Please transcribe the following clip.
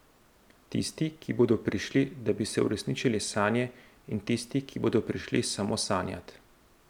Tisti, ki bodo prišli, da bi si uresničili sanje, in tisti, ki bodo prišli samo sanjat.